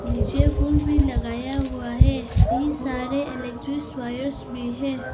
नीचे फूल भी लगाया हुआ है कई सारे इलेक्ट्रिक वायर्स भी हैं।